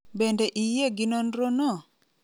Bende iyie gi nonro no?